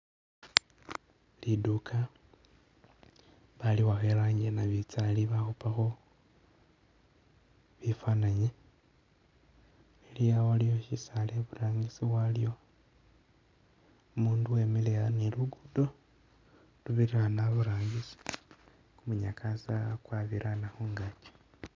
Liduka bali wakha e rangi yanabinzali bakhupakho bifananyi, ili awa waliwo shisaala i'burangisi walyo umundu wemile aa' ni lugudo lubirila a'ano a'burangisi kumunyakasa kwabirana khungaki